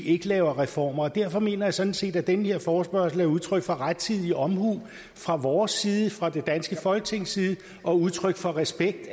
ikke laver reformer derfor mener jeg sådan set at den her forespørgsel er udtryk for rettidig omhu fra vores side fra det danske folketings side og udtryk for respekt